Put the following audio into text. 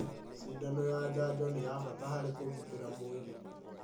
Cindano ya njanjo nĩ ya bata harĩ kũgitĩra mwĩrĩ